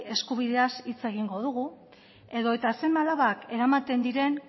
eskubideaz hitz egingo dugu edo eta seme alabak eramaten diren